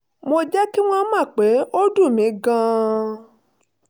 mo jẹ́ kí wọ́n mọ̀ pé ó dùn mí gan-an